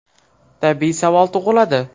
Tabiiy savol tug‘iladi.